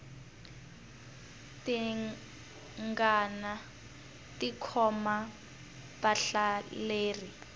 tingana ti khoma vahlaleri